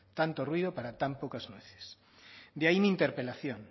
tanto ruido para tan pocas nueces de ahí mi interpelación